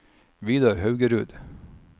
Vidar Haugerud